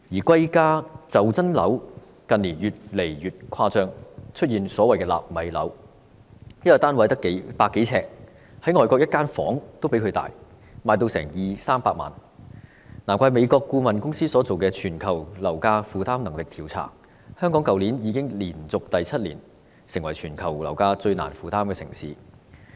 貴價袖珍樓近年越來越誇張，出現所謂"納米樓"，一個單位只有百多呎，外國一個房間比它還要大，但售價卻要二三百萬元，難怪美國顧問公司進行的"全球樓價負擔能力調查"指出，香港去年已連續第七年成為全球樓價最難負擔的城市。